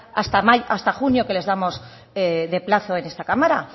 hasta junio que les damos de plazo en esta cámara